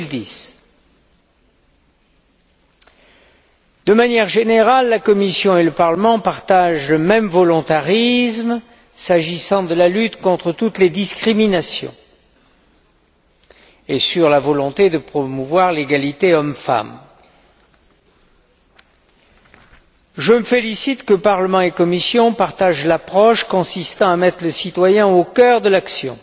2010. De manière générale, la Commission et le Parlement partagent le même volontarisme s'agissant de la lutte contre toutes les discriminations et de la promotion de l'égalité entre hommes et femmes. Je me félicite de ce que le Parlement et la Commission partagent l'approche consistant à mettre le citoyen au cœur de l'action